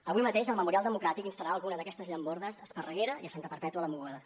avui mateix el memorial democràtic instal·larà alguna d’aquestes llambordes a esparreguera i a santa perpètua de mogoda